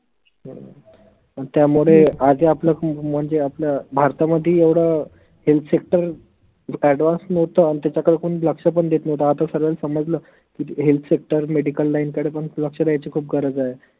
पन त्यामुळे आजही आपल्या खूप म्हनजे आपल्या भारता मदी एवढं health sector advance नव्हतं आनि त्याच्याकडे कोनी लक्ष पन देत नव्हतं आता सर्व्याले समजलं की, healthsectormedicalline कडे पन लक्ष द्यायची खूप गरज आहे.